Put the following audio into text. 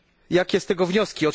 Jakie z tego wnioski?